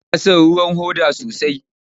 Ina son ruwan hoda sosai.